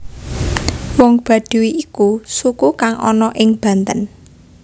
Wong Baduy iku suku kang ana ing Banten